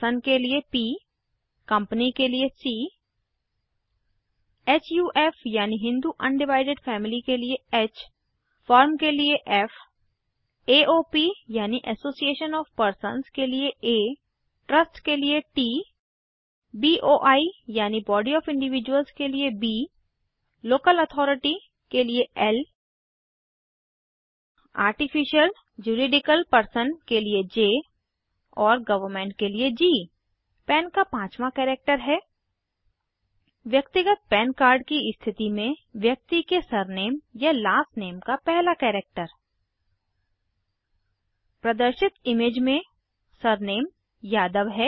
person के लिए P company के लिए सी हुफ यानि हिन्दू अनडिवाइडिड फैमिली के लिए ह फर्म के लिए फ़ एओपी यानि एसोसिएशन ऑफ़ पर्सन्स के लिए आ ट्रस्ट के लिए ट बोई यानि बॉडी ऑफ़ इन्डविजूअल्स के लिए ब लोकल अथॉरिटी के लिये ल आर्टिफिशल जुरिडिकल पर्सन के लिए ज और गवर्नमेंट के लिए जी पन का पाँचवाँ कैरेक्टर है व्यक्तिगत पन कार्ड की स्थिती में व्यक्ति के सरनेम या लास्ट नेम का पहला कैरेक्टर प्रदर्शित इमेज में सरनेम यादव है